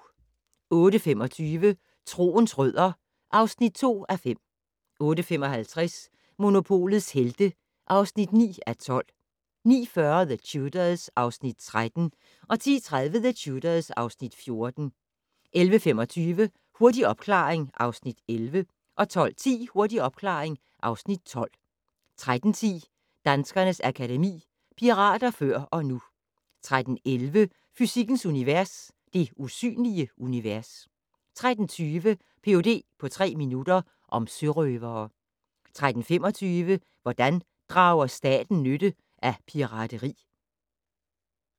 08:25: Troens rødder (2:5) 08:55: Monopolets Helte (9:12) 09:40: The Tudors (Afs. 13) 10:30: The Tudors (Afs. 14) 11:25: Hurtig opklaring (Afs. 11) 12:10: Hurtig opklaring (Afs. 12) 13:10: Danskernes Akademi: Pirater før og nu 13:11: Fysikkens univers: Det usynlige univers 13:20: Ph.d. på tre minutter - om sørøvere 13:25: Hvordan drager stater nytte af pirateri?